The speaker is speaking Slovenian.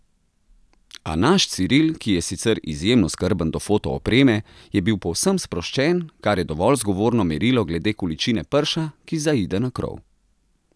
A naš Ciril, ki je sicer izjemno skrben do fotoopreme, je bil povsem sproščen, kar je dovolj zgovorno merilo glede količine prša, ki zaide na krov.